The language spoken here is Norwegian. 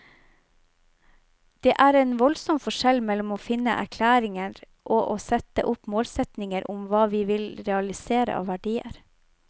Det er en voldsom forskjell mellom å finne erklæringer og å sette opp målsetninger om hva vi vil realisere av verdier.